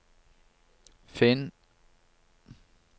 finn